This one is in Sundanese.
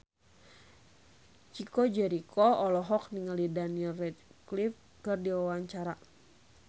Chico Jericho olohok ningali Daniel Radcliffe keur diwawancara